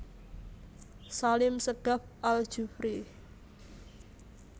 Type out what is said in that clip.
Salim Segaf Al Jufri